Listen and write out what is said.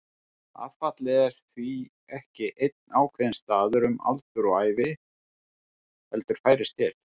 Affallið er því ekki einn ákveðinn staður um aldur og ævi heldur færist til.